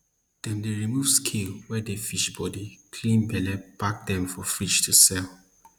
dem dey remove scale wey dey fish bodi clean belle pack dem for fridge to sell